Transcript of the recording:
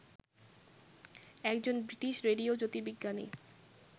একজন British radio জ্যোতির্বিজ্ঞানী